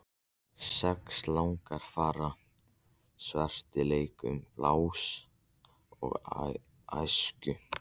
Sex langafar svartir leika sama blús og í æsku.